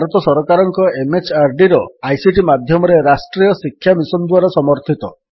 ଯାହା ଭାରତ ସରକାରଙ୍କ MHRDର ଆଇସିଟି ମାଧ୍ୟମରେ ରାଷ୍ଟ୍ରୀୟ ଶିକ୍ଷା ମିଶନ୍ ଦ୍ୱାରା ସମର୍ଥିତ